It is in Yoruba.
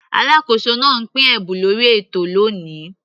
Alákóso náà pín ẹ̀bùn lórí ètò lóni.